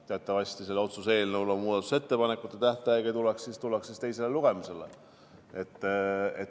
Teatavasti sellel otsuse eelnõul on muudatusettepanekute tähtaeg ja siis tullakse teisele lugemisele.